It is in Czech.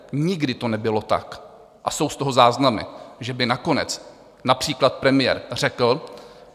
Nikdy to nebylo tak, a jsou z toho záznamy, že by nakonec například premiér řekl.